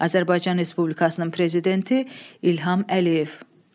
Azərbaycan Respublikasının prezidenti İlham Əliyev.